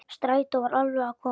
Strætó var alveg að koma.